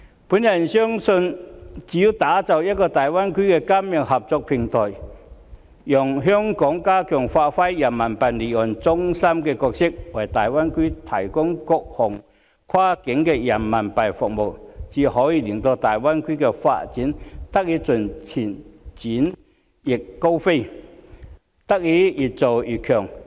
我相信只有打造一個大灣區的金融合作平台，讓香港加強發揮人民幣離岸中心的角色，為大灣區提供各項跨境人民幣服務，才可以令大灣區的發展得以盡情展翅高飛，越做越強。